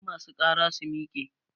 Duk ma su ƙara su miƙe!